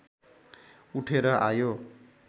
उठेर आयो